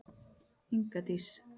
Inga Dís.